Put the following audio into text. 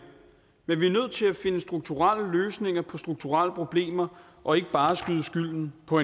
men vi er nødt til at finde strukturelle løsninger på strukturelle problemer og ikke bare skyde skylden på